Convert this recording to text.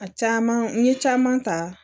A caman n ye caman ta